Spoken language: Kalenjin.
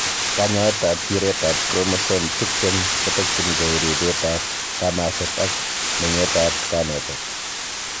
Kanyaetab tiretab chromosome tiptem kotokyingei ribetab kamaset ak meng'etab kanetet.